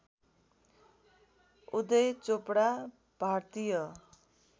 उदय चोपडा भारतीय